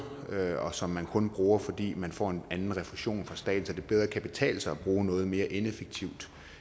og som man kun bruger fordi man får en anden refusion fra staten så det bedre kan betale sig at bruge noget mere ineffektive